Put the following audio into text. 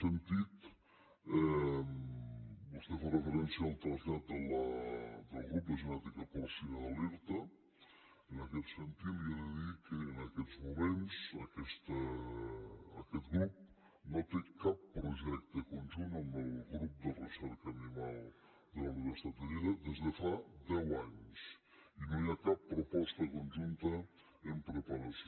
vostè fa referència al trasllat del grup de genètica porcina de l’irta i en aquest sentit li he de dir que en aquests moments aquest grup no té cap projecte conjunt amb el grup de recerca animal de la universitat de lleida des de fa deu anys i no hi ha cap proposta conjunta en preparació